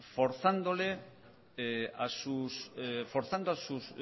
forzando a sus